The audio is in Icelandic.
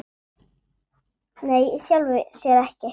Nei, í sjálfu sér ekki.